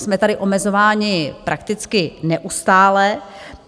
Jsme tady omezováni prakticky neustále.